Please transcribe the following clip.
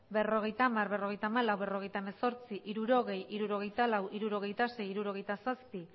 berrogeita hamar berrogeita hamalau berrogeita hemezortzi hirurogei hirurogeita lau hirurogeita sei hirurogeita zazpi